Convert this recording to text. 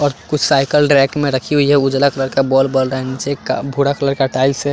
और कुछ cycle rack में रखी हुई है उजाला कलर का बोल्ब बल रहा है नीचे का भूरा कलर का टाइल्स है।